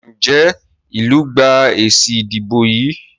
Njé ilú gbà èsì ìdìbò yí?